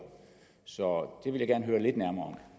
så det vil jeg gerne høre lidt nærmere